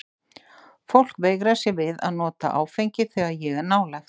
Fólk veigrar sér við að nota áfengi þegar ég er nálægt.